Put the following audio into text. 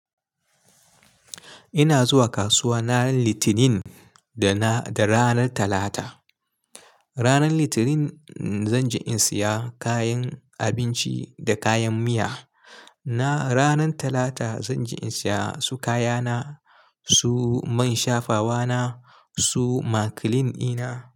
Ina zuwa kasuwa ranar Litinin da na, da ranar Talata. Ranar Litinin zan je in saya kayan abinci da kayan miya. Na ranar Talata zan je in saya su kaya na, su man shafawa na, su makilin ina.